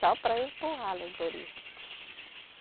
Só para empurrar a alegoria.